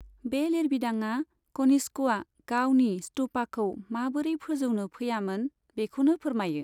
बे लिरबिदाङा कनिष्कआ गावनि स्तूपाखौ माबोरै फोजौनो फैयामोन बेखौबो फोरमायो।